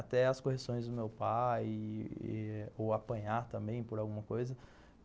Até as correções do meu pai ou apanhar também por alguma coisa.